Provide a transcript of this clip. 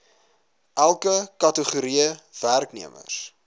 elke kategorie werknemers